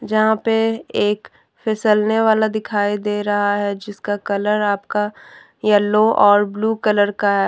यहां पे एक फिसलने वाला दिखाई दे रहा है जिसका कलर आपका येलो और ब्लू कलर का--